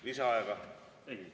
Lisaaega?